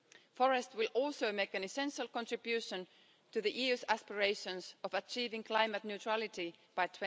Forests will also make an essential contribution to the EU's aspirations of achieving climate neutrality by